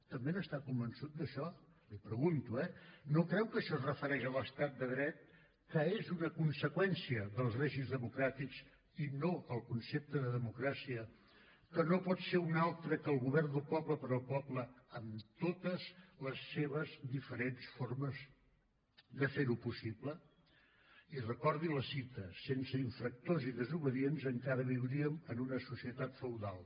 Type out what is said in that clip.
també n’està convençut d’això l’hi pregunto eh no creu que això es refereix a l’estat de dret que és una conseqüència dels règims democràtics i no al concepte de democràcia que no pot ser un altre que el govern del poble per al poble en totes les seves diferents formes de fer ho possible i recordi la cita sense infractors i desobedients encara viuríem en una societat feudal